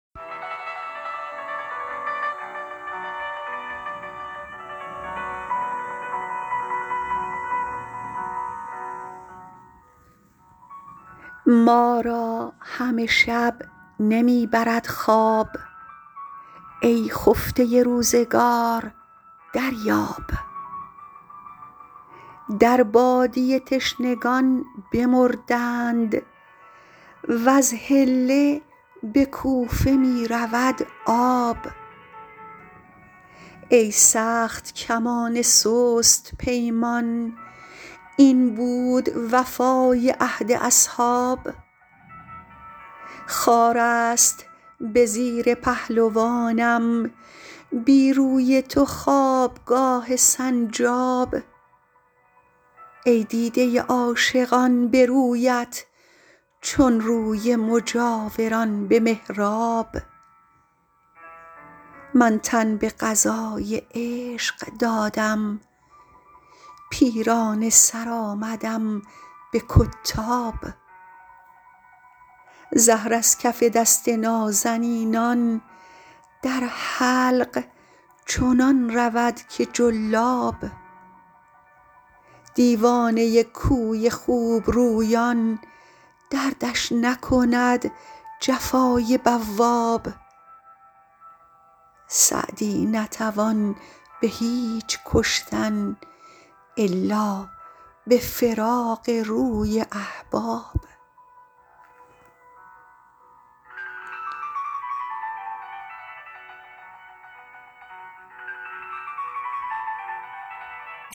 ما را همه شب نمی برد خواب ای خفته روزگار دریاب در بادیه تشنگان بمردند وز حله به کوفه می رود آب ای سخت کمان سست پیمان این بود وفای عهد اصحاب خار است به زیر پهلوانم بی روی تو خوابگاه سنجاب ای دیده عاشقان به رویت چون روی مجاوران به محراب من تن به قضای عشق دادم پیرانه سر آمدم به کتاب زهر از کف دست نازنینان در حلق چنان رود که جلاب دیوانه کوی خوبرویان دردش نکند جفای بواب سعدی نتوان به هیچ کشتن الا به فراق روی احباب